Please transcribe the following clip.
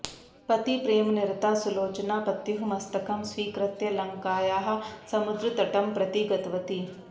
पतिप्रेमनिरता सुलोचना पत्युः मस्तकं स्वीकृत्य लङ्कायाः समुद्र्तटं प्रति गतवती